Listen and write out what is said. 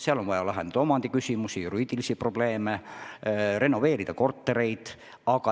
Seal on vaja lahendada omandiküsimusi ja muid juriidilisi probleeme, renoveerida kortereid.